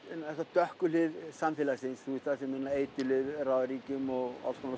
dökku hlið samfélagsins þar sem eiturlyf ráða ríkjum og alls konar